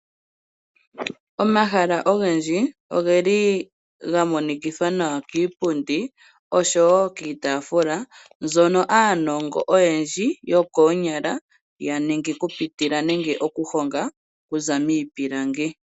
Omahala ogendji oge li ga monikithwa nawa kiipundi osho kiitafula mbyono aanongo oyendji yo koonyala ya ningi okupitila nenge okuhonga okuza miipilangi.